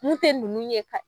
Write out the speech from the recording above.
Mun tɛ ninnu ye ka.